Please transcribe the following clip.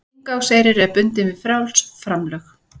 Inngangseyrir er bundinn við frjáls framlög